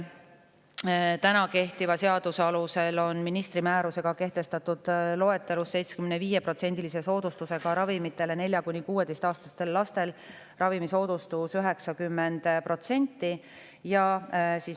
Kehtiva seaduse alusel on ministri määrusega kehtestatud loetelusse 75%‑lise soodustusega ravimite soodustus 4–16-aastastele lastele 90%.